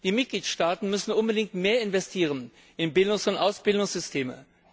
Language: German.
Die Mitgliedstaaten müssen unbedingt mehr investieren in Bildungs und Ausbildungssysteme.